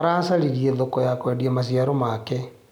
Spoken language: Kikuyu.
Aracaririe thoko ya kwendia maciaro make.